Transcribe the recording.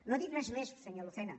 no ha dit res més senyor lucena